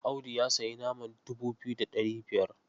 Audi ya sayi naman dubu biyu da ɗari biyar.